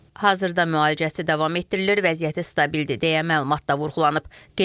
Hazırda müalicəsi davam etdirilir, vəziyyəti stabildir" deyə məlumatda vurğulanıb.